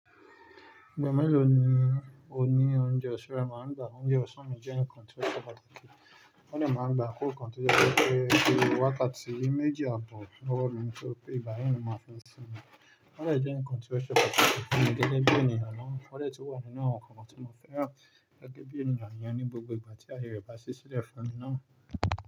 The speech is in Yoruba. Ìgbà mélòó ni oní-oúnjẹ ọ̀sán rẹ máa ń gba? Oúnjẹ ọ̀sán mi jẹ́ nǹkan tó ṣe pàtàkì, wọ́n dẹ̀ máa ń gba àkókò kan tó jẹ́ wípé bí wákàtí méjì àbọ̀ lọ́wọ́ mi ni ó ṣe pé ìgbà yí ni mo ma fi n sinmi. Wọ́n dẹ̀ jẹ́ nǹkan tí ó ṣe pàtàkì fún mi gẹ́gẹ́ bí ènìyàn náà, wọ́n dẹ̀ tí wà nínú àwọn nǹkan tí mo fẹ́ ràn gẹ́gẹ́ bí ènìyàn ìyẹn ní gbogbo ìgbà tí ààyè rẹ̀ bá ṣí sílẹ̀ fún mi náà.